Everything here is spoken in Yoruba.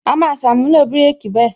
A máa ṣàmúlò bireki bẹ́ẹ̀